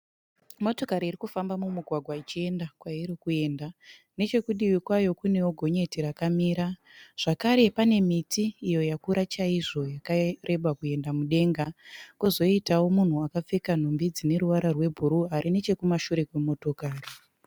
Motokari iri kufamba mumugwagwa ichienda kwairi kuenda nechekurutivi kwayo kune gonyeti rakamira, zvakare pane miti yakura chaizvo iyo yakareba ichienda mudenga, kozotiwo munhu akapfeka nhumbi dzine ruvara rwebhuruu ari nechekumashure kwemotokari.